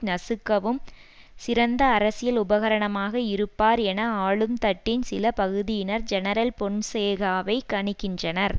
நசுக்கவும் சிறந்த அரசியல் உபகரணமாக இருப்பார் என ஆளும் தட்டின் சில பகுதியினர் ஜெனரல் பொன்சேகாவை கணிக்கின்றனர்